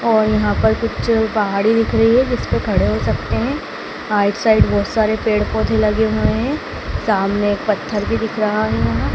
और यहाँ पर कुछ पहाड़ी दिख रही है जिस पे खड़े हो सकते हैं आइड साइड बहोत सारे पेड़-पौधे लगे हुए हैं सामने एक पत्थर भी दिख रहा है यहाँ।